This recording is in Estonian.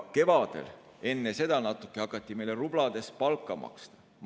Kevadel, natuke enne hakati meile rublades palka maksma.